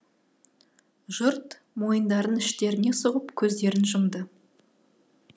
жұрт мойындарын іштеріне сұғып көздерін жұмды